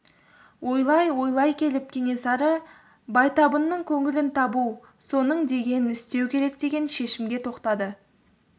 ойлай-ойлай келіп кенесары байтабынның көңілін табу соның дегенін істеу керек деген шешімге тоқтады